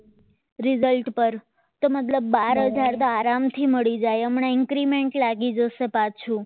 result પર તો મતલબ બાર હજાર તો આરામથી મળી જાય અમને increment લાગી જશે પાછું